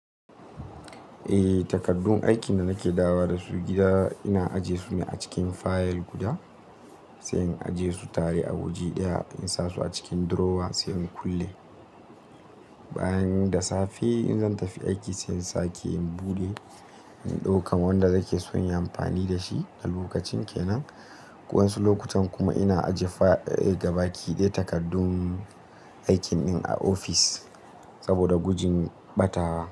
Eh, takardun aikin da nake dawo da su gida ina aje su ne a cikin fayil guda, sai in aje su tare a waje ɗaya in sa su a cikin drawer sai in kulle. Bayan da safe in zan tafi aiki sai in sake in buɗe, in ɗaukan wanda zai ke son yin amfani da shi a lokacin ke nan. Waɗansu lokutan kuma ina ajiye fa-- eh, gaba kiɗe takardun aikin ɗin a ofis saboda gujin ɓatawa.